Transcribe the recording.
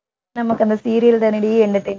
நமக்கு அந்த serial தானடி entertainment